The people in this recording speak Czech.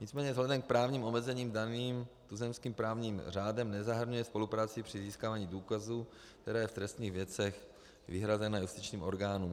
Nicméně vzhledem k právním omezením daným tuzemským právním řádem nezahrnuje spolupráci při získávání důkazů, které je v trestních věcech vyhrazené justičním orgánům.